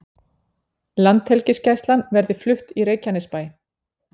Landhelgisgæslan verði flutt í Reykjanesbæ